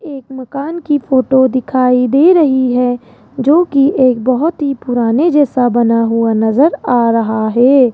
एक मकान की फोटो दिखाई दे रही है जोकि एक बहुत ही पुराने जैसा बना हुआ नजर आ रहा है।